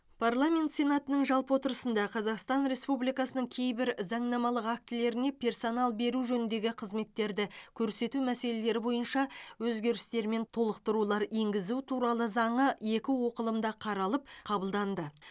парламент сенатының жалпы отырысында қазақстан республикасының кейбір заңнамалық актілеріне персонал беру жөніндегі қызметтерді көрсету мәселелері бойынша өзгерістер мен толықтырулар енгізу туралы заңы екі оқылымда қаралып қабылданды